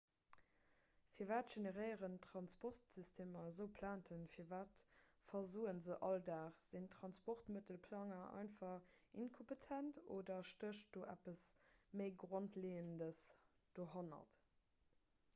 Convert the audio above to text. firwat generéieren transportsystemer esou plainten firwat versoe se all dag sinn transportmëttelplanger einfach inkompetent oder stécht do eppes méi grondleeëndes dohannert